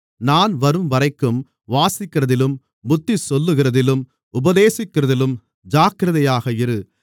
நான் வரும்வரைக்கும் வாசிக்கிறதிலும் புத்திசொல்லுகிறதிலும் உபதேசிக்கிறதிலும் ஜாக்கிரதையாக இரு